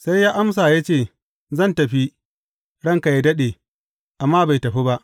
Sai ya amsa ya ce, Zan tafi, ranka yă daɗe,’ amma bai tafi ba.